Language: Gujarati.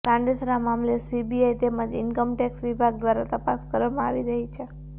સાંડેસરા મામલે સીબીઆઇ તેમજ ઇન્કમ ટેક્સ વિભાગ દ્વારા તપાસ કરવામાં આવી રહી છે